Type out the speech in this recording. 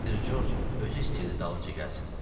Mister George özü istəyirdi dalımca gəlsin.